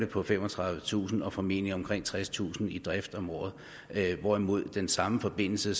på femogtredivetusind kroner og formentlig omkring tredstusind kroner i drift om året hvorimod den samme forbindelse